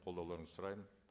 қодауларыңызды сұраймын